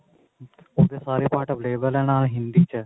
ਉਸਦੇ ਸਾਰੇ part available ਏ ਨਾਲੇ ਹਿੰਦੀ ਚ ਏ